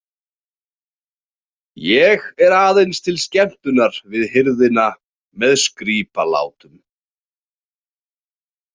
Ég er aðeins til skemmtunar við hirðina með skrípalátum.